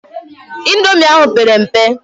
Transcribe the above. Indomi ahụ pere mpe.